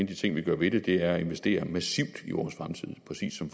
de ting vi gør ved det er at investere massivt i vores fremtid præcis som